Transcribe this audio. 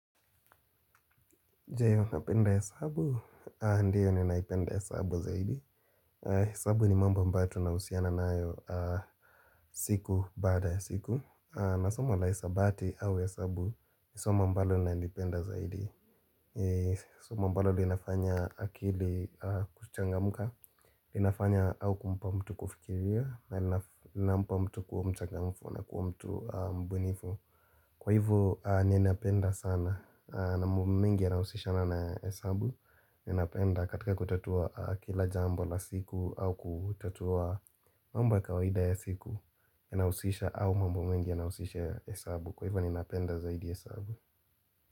Jee unapenda hesabu, ndio ninaipenda hesabu zaidi, hesabu ni mambo ambayo tunahusiana nayo siku baada ya siku na somo la hisabati au hesabu ni somo ambalo ninalipenda zaidi, somo ambalo linafanya akili kuchangamka linafanya au kumpa mtu kufikiria na linafanya mtu kuwa mchangamfu na kuwa mtu mbunifu Kwa hivyo ni napenda sana na mambo mengi yanahusishana na hesabu Ninapenda katika kutatua kila jambo la siku au kutatua mambo ya kawaida ya siku Ninahusisha au mambo mengi yanahusisha hesabu Kwa hivyo ninapenda zaidi hesabu.